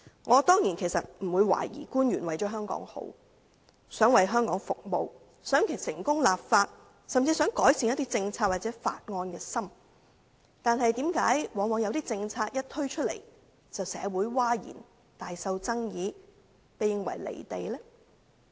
我當然不會懷疑官員是一心為了香港好，想為香港服務，想成功立法，甚至想改善一些政策或法案，但為何往往有些政策一推出便令社會譁然，大受爭議，被視為"離地"呢？